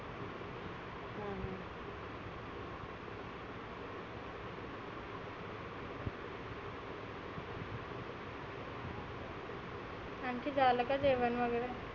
आनखी झालं का जेवण वगैरे?